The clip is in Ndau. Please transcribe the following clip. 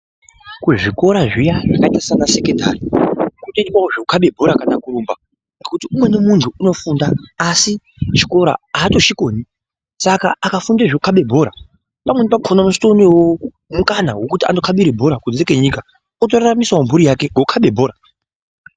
Kuzvikora zviya zvakaita saana sekondari kunoitwawo zvekukabe bhora kana kurumba ngokuti umweni muntu unofunda asi chikora aatochikoni saka akafunde zvekukabe bhora pamweni pakhona unozotoonewo mukana wekunokhabire bhora kunze kwenyika, otoraramisawo mphuri yake ngekukhabe bhora.